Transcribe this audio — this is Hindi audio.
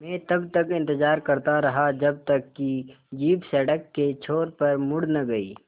मैं तब तक इंतज़ार करता रहा जब तक कि जीप सड़क के छोर पर मुड़ न गई